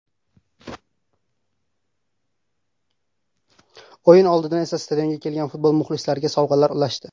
O‘yin oldidan esa stadionga kelgan futbol muxlislariga sovg‘alar ulashdi.